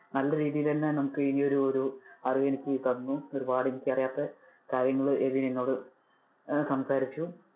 നല്ല രീതിയിൽ തന്നെ നമുക്ക് ഈ ഒരു ഒരു അറിവെനിക്ക് തന്നു, ഒരുപാട് എനിക്ക് അറിയാത്ത കാര്യങ്ങൾ എബിൻ എന്നോട് ആഹ് സംസാരിച്ചു.